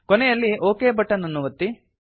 ಕೊನೆಯಲ್ಲಿ okay button ಅನ್ನು ಒತ್ತಿ